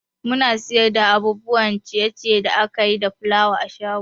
Muna siyar da abubuwan ciye ciye da akayi da fulawa a shago